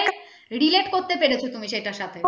relate করতে পেরেছ তুমি সেটার সাথে